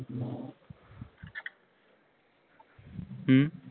ਹੂ